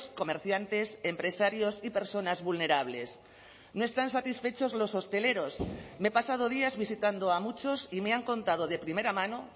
comerciantes empresarios y personas vulnerables no están satisfechos los hosteleros me he pasado días visitando a muchos y me han contado de primera mano